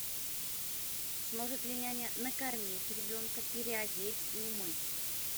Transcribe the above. сможет ли няня накормить ребенка переодеть и умыть